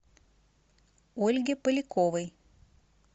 ольге поляковой